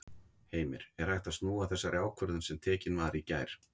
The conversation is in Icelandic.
Heimir: Er hægt að snúa þessari ákvörðun sem tekin var í gær?